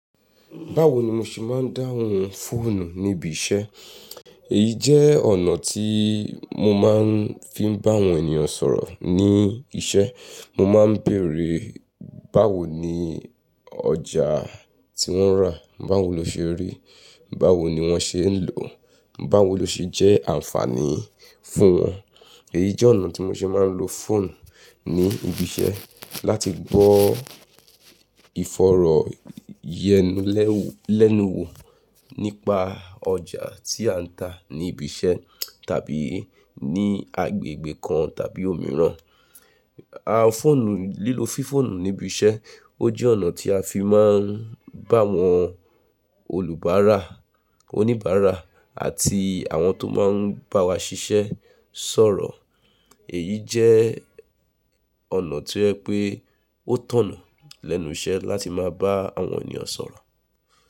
Báwo ni mo ṣe máa ń dáhùn fóònù níbi iṣẹ́? Èyí jẹ́ ọ̀nà tí mo máa ń fi bá àwọn ènìyàn sọ̀rọ̀ ní iṣẹ́. Mo máa ń bèèrè báwo ní ọjà tí wọ́n rà, báwo lo ṣe rí, báwo ni wọ́n ṣe ń lò, báwo lo ṣe jẹ́ àǹfààní fún wọn. Èyí jẹ́ ọ̀nà tí mo ṣe máa ń lo fóònù ní ibi iṣẹ́ láti gbọ́ fọ̀rọ̀ yẹn lẹ́nu wo nípa ọjà tí à ń tà ní ibi iṣẹ́ tàbí ní agbègbè kan tàbí òmíràn. Fóònù, lílo fí fóònù níbi iṣẹ́ o jẹ́ ọ̀nà tí a fi máa ń bá àwọn olùbáárà, oníbàárà àti àwọn tó máa ń bá wa ṣiṣẹ́ sọ̀rọ̀. Èyí jẹ́ ọ̀nà tí o je pé ó tọ̀nù lẹ́nu iṣẹ́ láti máa bá àwọn ènìyàn sọ̀rọ̀.